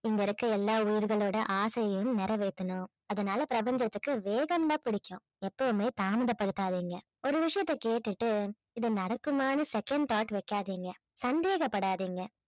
இங்க இருக்கிற எல்லா உயிர்களோட ஆசையையும் நிறைவேத்தணும் அதனால பிரபஞ்சத்திற்கு வேகம்னா பிடிக்கும் எப்பவுமே தாமதப்படுத்தாதீங்க ஒரு விஷயத்தை கேட்டுட்டு இது நடக்குமான்னு second thought வைக்காதிங்க சந்தேகப்படாதீங்க